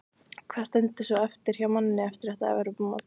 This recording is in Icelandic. Hvað stendur svo eftir hjá manni eftir þetta Evrópumót?